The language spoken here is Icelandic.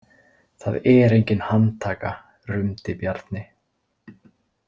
Það er engin handtaka, rumdi Bjarni.